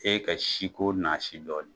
E ka si ko naasi dɔɔnin.